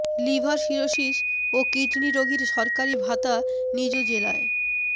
liver cirrhosis ও kidney রোগীর সরকারি ভাতা নিজ জেলায়